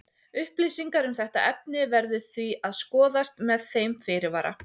Upplýsingar um þetta efni verður því að skoðast með þeim fyrirvara.